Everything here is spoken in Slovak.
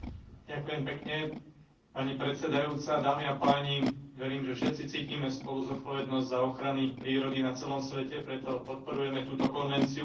Verím, že všetci cítime spoluzodpovednosť za ochranu prírody na celom svete, preto podporujeme túto konvenciu, ku ktorej má Európska únia pristúpiť ako celok.